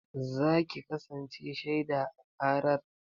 Za ki kasance shaiɗa a ƙarar?